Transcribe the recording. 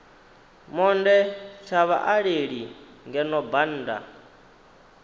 monde tsha vhaaleli ngeno bannda